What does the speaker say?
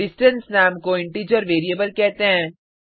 distance नाम को integer variable कहते हैं